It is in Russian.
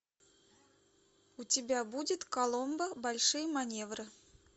у тебя будет коломбо большие маневры